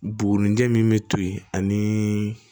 Bugunijɛ min be to yen ani